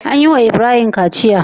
An yi wa Ibrahim kaciya?